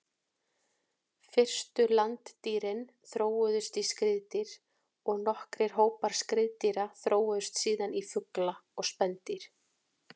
Fyrstu landdýrin þróuðust í skriðdýr og nokkrir hópar skriðdýra þróuðust síðan í fugla og spendýr.